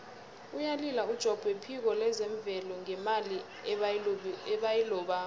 uyalila ujobb wephiko lezemvelo ngemali ebayilobako